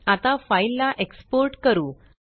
आता फाइल ला एक्सपोर्ट करू